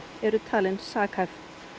eru talin sakhæf